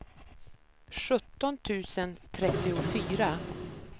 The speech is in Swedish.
sjutton tusen trettiofyra